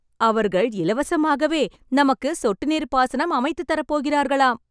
அவர்கள் இலவசமாகவே நமக்கு சொட்டு நீர் பாசனம் அமைத்துத் தர போகிறார்களாம்!